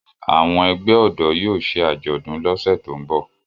Àwọn ẹgbẹ́ ọ̀dọ́ yóò ṣe àjọ̀dún lọ́sẹ̀ tó ń bọ̀